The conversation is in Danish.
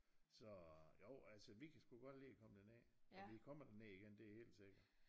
Så jo altså vi kan sgu godt lide at komme derned og vi kommer derned igen det er helt sikkert